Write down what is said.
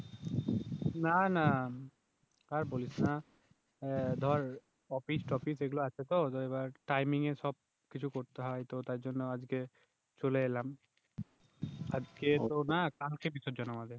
না না আর বলিস না আহ ধর অফিস তফিস এগুলো আছে তো তো এবার টাইমিং এ সবকিছু করতে হয় তো তার জন্য আজকে চলে এলাম, আজকে তো না কালকে বিসর্জন আমাদের